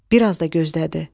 Bir az da gözlədi.